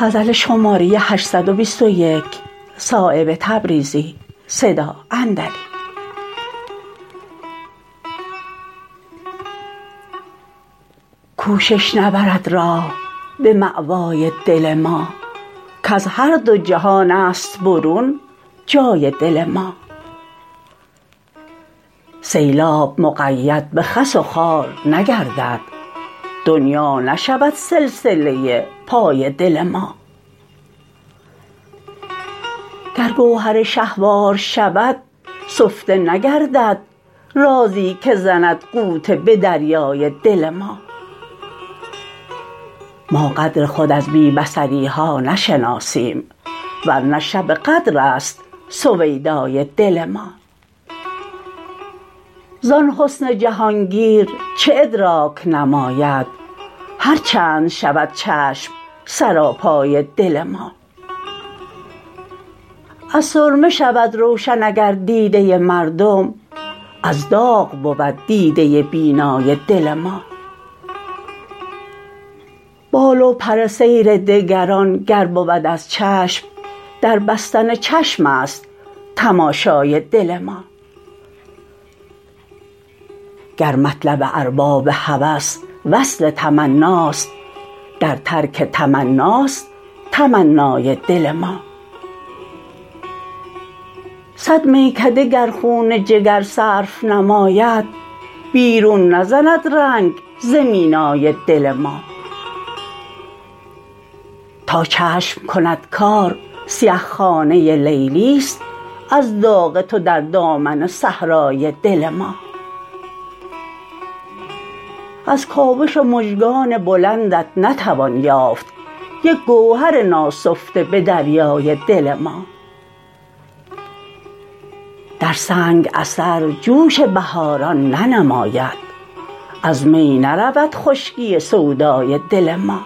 کوشش نبرد راه به مأوای دل ما کز هر دو جهان است برون جای دل ما سیلاب مقید به خس و خار نگردد دنیا نشود سلسله پای دل ما گر گوهر شهوار شود سفته نگردد رازی که زند غوطه به دریای دل ما ما قدر خود از بی بصری ها نشناسیم ورنه شب قدرست سویدای دل ما زان حسن جهانگیر چه ادراک نماید هر چند شود چشم سراپای دل ما از سرمه شود روشن اگر دیده مردم از داغ بود دیده بینای دل ما بال و پر سیر دگران گر بود از چشم در بستن چشم است تماشای دل ما گر مطلب ارباب هوس وصل تمناست در ترک تمناست تمنای دل ما صد میکده گر خون جگر صرف نماید بیرون نزند رنگ ز مینای دل ما تا چشم کند کار سیه خانه لیلی است از داغ تو در دامن صحرای دل ما از کاوش مژگان بلندت نتوان یافت یک گوهر ناسفته به دریای دل ما در سنگ اثر جوش بهاران ننماید از می نرود خشکی سودای دل ما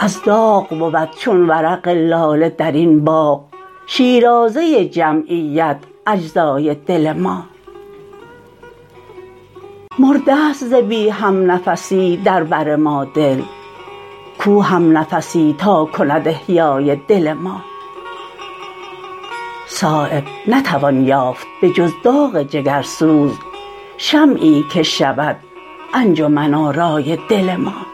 از داغ بود چون ورق لاله درین باغ شیرازه جمیت اجزای دل ما مرده است ز بی همنفسی در بر ما دل کو همنفسی تا کند احیای دل ما صایب نتوان یافت به جز داغ جگرسوز شمعی که شود انجمن آرای دل ما